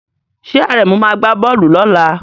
Ṣé Àrẹ̀mú máa gbá bọ́ọ̀lù lọ́la?